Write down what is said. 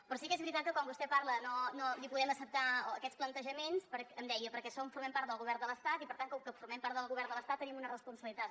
però sí que és veritat que quan vostè parla no li podem acceptar aquests plantejaments em deia perquè som formem part del govern de l’estat i per tant com que formem part del govern de l’estat tenim una responsabilitat